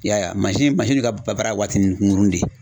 I y'a ye ka baara ye waatinin kunkuruni de.